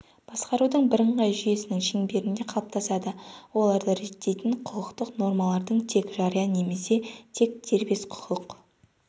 басқарудың бірыңғай жүйесінің шеңберінде қалыптасады оларды реттейтін құқықтық нормалардың тек жария немесе тек дербес құқық